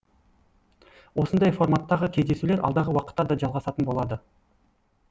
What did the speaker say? осындай форматтағы кездесулер алдағы уақытта да жалғасатын болады